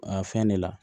A fɛn de la